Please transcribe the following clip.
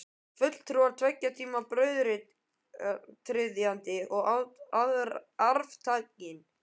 Fulltrúar tveggja tíma, brautryðjandinn og arftakinn.